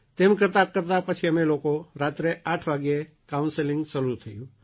તેને કરતાંકરતાં પછી અમે લોકો રાત્રે આઠ વાગે કાઉન્સેલિંગ થયું